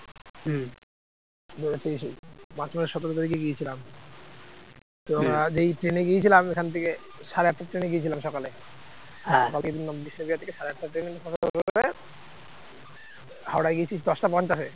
হাওড়ায় গেছি পাঁচটা পঞ্চাশে